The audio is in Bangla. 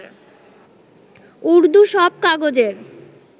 উর্দু সব কাগজের